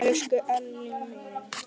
Elsku Elli minn.